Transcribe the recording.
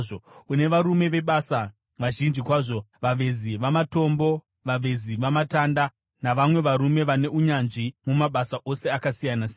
Une varume vebasa vazhinji kwazvo: vavezi vamatombo, vavezi vamatanda navamwe varume vane unyanzvi mumabasa ose akasiyana-siyana